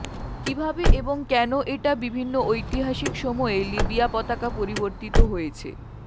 কিভাবে এবং কেন এটা বিভিন্ন ঐতিহাসিক সময়ে লিবিয়া পতাকা পরিবর্তিত হয়েছে